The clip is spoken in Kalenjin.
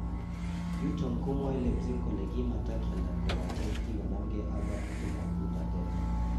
Yuton komwae Leipzig kole kimatakyalda kobaten kii konamkee ak ng'atutik ab utatet .